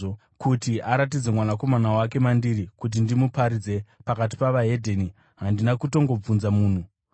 kuti aratidze Mwanakomana wake mandiri kuti ndimuparidze pakati pavaHedheni, handina kutongobvunza munhu,